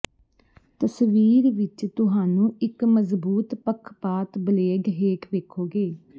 ਤਸਵੀਰ ਵਿੱਚ ਤੁਹਾਨੂੰ ਇੱਕ ਮਜ਼ਬੂਤ ਪੱਖਪਾਤ ਬਲੇਡ ਹੇਠ ਵੇਖੋਗੇ